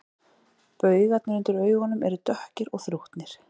Baugarnir undir augunum eru dökkir og þrútnir